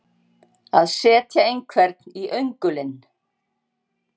Að setja einhvern í öngulinn